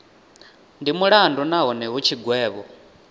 ndi mulandu nahone hu tshigwevho